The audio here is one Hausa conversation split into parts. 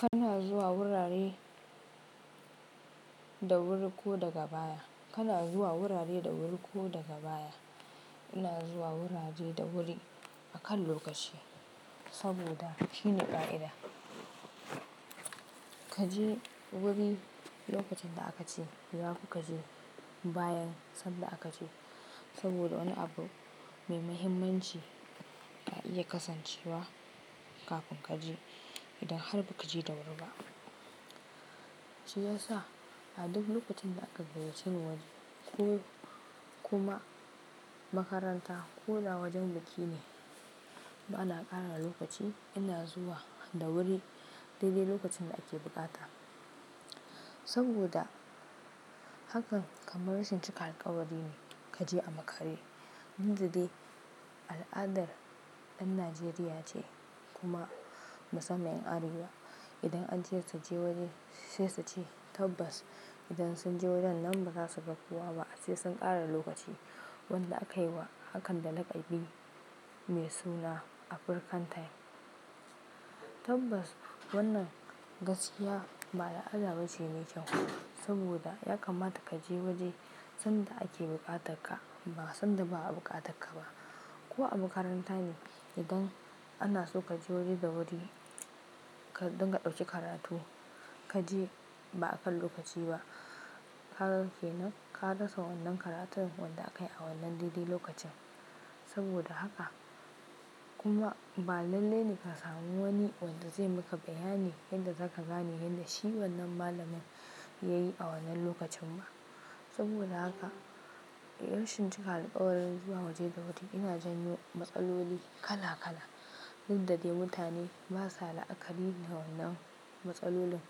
Kana zuwa wurare da wuri ko daga baya. Kana zuwa wurare da wuri ko daga baya. Ina zuwa wurare da wuri akan lokaci saboda shine ƙa'ida. Ka je wuri lokacin da aka ce, ba ku ka je bayan sanda aka ce saboda wani abu mai mahimmanci ya iya kasancewa kafin ka je idan har ba ka je da wuri ba. Shi ya sa a duk lokacin da aka gayace waje ko kuma makaranta ko da wajen biki ne, ba na ƙara lokaci. Ina zuwa da wuri daidai lokacin da ake buƙata saboda hakan kamar rashin cika alƙawari ne ka je a makare. Inda dai al'adar ɗan Najeriya ce kuma musamman ƴan arewa, idan an ce su je waje sai su ci tabbas. Idan sun je wajen nan ba za su ga kowa ba sai sun ƙara lokaci wanda akayi wa hakan da laƙabi mai suna African time. Tabbas wannan gaskiya ba da al'ada ba ce mai kyau saboda ya kamata ka je waje sanda ake buƙatar ka ba sanda ba a buƙatar ka ba. Ko a makaranta ne idan ana so ka je waje da wuri don ka ɗauki karatu, ka je ba akan lokaci ba, haka ke nan. Ka rasa wannan karatun wanda aka yi a wannan daidai lokacin saboda haka. Kuma ba lalle ne ka samu wani wanda zai maka bayani yadda za ka gane yadda shi wannan malamin ya yi a wannan lokacin ba. Saboda haka rashin cika alƙawari zuwa waje da wuri yana janyo matsaloli kala kala. Inda dai mutane basa la'akari da wannan matsalolin.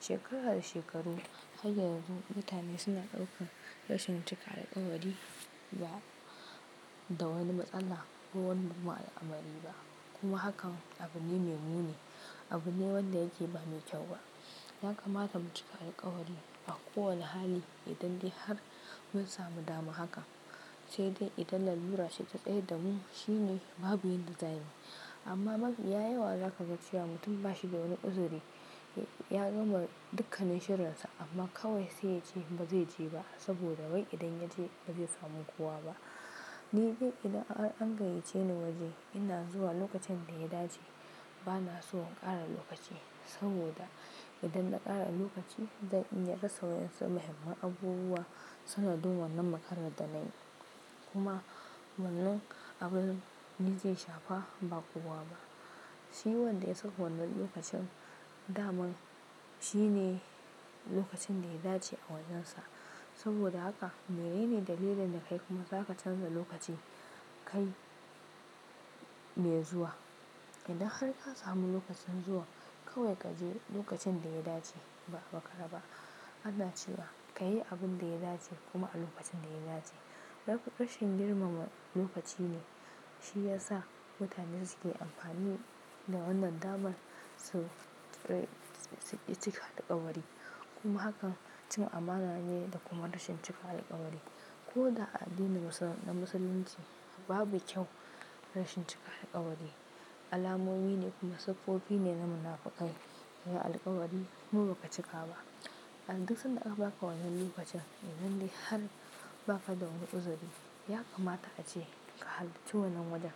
Shekara da shekaru har yanzu mutane suna ɗaukar rashin cika alƙawari ga da wani matsala ko wanda ba da amari ba. Kuma hakan abu ne mai muni, abu ne wanda yake ba mai kyau ba. Ya kamata mu cika alƙawari a kowane hali idan dai har mun samu dama haka. Sai dai idan lalura ce ta tsaye da mu, shi ne babu inda za mu yi. Amma ya yawa za ka ganshiya mutum ba shi da wani uzuri ya gama dukkanin shirarsa amma kawai sai ya ce ba zai je ba saboda wai idan ya je ba zai samu kowa ba. Ni dai idan an gayyace ni waje ina zuwa lokacin da ya dace. Ba na so in ƙara lokaci saboda idan na ƙara lokaci dai in ya rasa wasu muhimman abubuwa suna duba wannan makarantar nan kuma wannan abun ni ke shafa ba kowa ba. Shi wanda ya sako wannan lokacin daman, shi ne lokacin da ya dace a wurinnsa saboda haka. Mene ne dalilin da kai kuma za ka canza lokaci kai mai zuwa? Idan har ka samu lokacin zuwa kawai ka je lokacin da ya dace ba makara ba. Ana cewa ka yi abun da ya dace kuma a lokacin da ya dace. Rashin girmama lokaci ne shi ya sa mutane suke amfani da wannan daban su cika alƙawari kuma hakan cin amana ne da kuma rashin cika alƙawari. Ko da a addinin musulunci babu kyau rashin cika alƙawari alamomi ne kuma siffofi ne na munafukai. Da alƙawari kuma ba ka cika ba. Dan duk sanda aka ba ka wannan lokacin idan dai har ba ka da wani uzuri, ya kamata ace ka halarci wannan wajen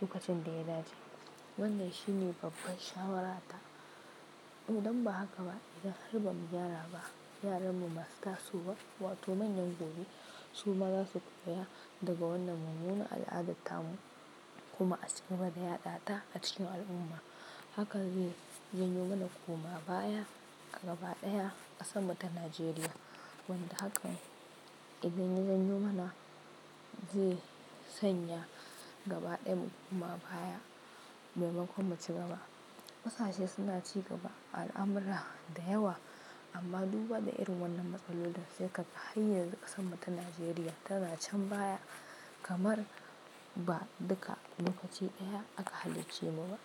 lokacin da ya dace. Wannan shi ne babban shawarata. Idan ba haka ba idan har ba mu gyara ba, yaranmu masu tasowa wato manyan gobe su ma za su koya daga wannan munanan al'adarta mu kuma a ci gaba da yada ta a cikin al'umma. Haka zai zanyo mana kuma baya a gaba ɗaya a ƙasar mu ta Najeriya. Wanda hakan idan ya zanyo mana zai sanya gaba ɗaya mu kuma baya maimakon mu ci gaba. Kusa shi ya suna ci gaba al'amrar da yawa. Amma duba da irin wannan matsalolin da suka faye ne ƙasar mu ta Najeriya ta na shan baya kamar ba duka lokaci ɗaya aka halicce mu ba.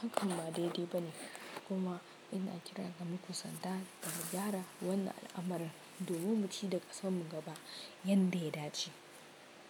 Hakan ba daidai ba ne kuma ina kira ga muku sanda da mu gyara wannan amarin domin mu ci gaba da ƙasar mu gaba yadda ya dace.